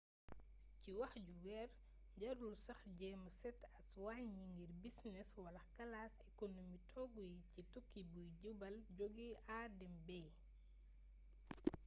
ci wax ju wër jarul sax jeema seet as wàññi ngir bisines wala kalas ekonomi toogu yi ci tukki buy jubal jóge a dem b